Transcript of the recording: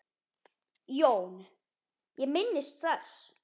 JÓN: Ég minnist þess.